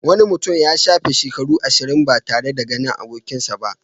Wani mutum ya shafe shekaru ashirin ba tare da ganin abokinsa ba.